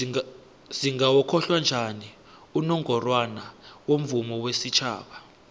singawokhohla njani unongorwana womvumo wesitjhaba